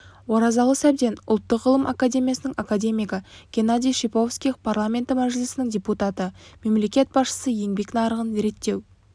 оразалы сәбден ұлттық ғылым академиясының академигі геннадий шиповских парламенті мәжілісінің депутаты мемлекет басшысы еңбек нарығын реттеу